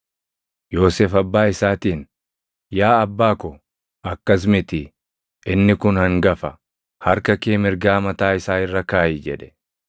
Yoosef abbaa isaatiin, “Yaa abbaa ko, akkas miti; inni kun hangafa; harka kee mirgaa mataa isaa irra kaaʼi” jedhe.